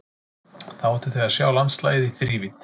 Þá ættuð þið að sjá landslagið í þrívídd.